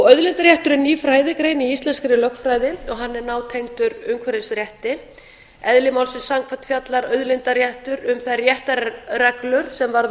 auðlindaréttur er ný fræðigrein í íslenskri lögfræði og hann er nátengdur umhverfisrétti eðli málsins samkvæmt fjallar auðlindaréttur um þær réttarreglur sem varða